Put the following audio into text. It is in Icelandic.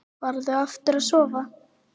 Farðu aftur að sofa.